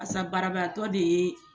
A sa barabaatɔ de ye